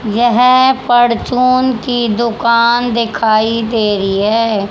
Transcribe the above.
यह परचून की दुकान दिखाई दे रही है।